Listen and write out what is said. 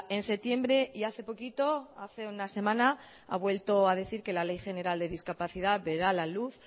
en septiembre y hace poquito hace una semana ha vuelto a decir que la ley general de discapacidad verá la luz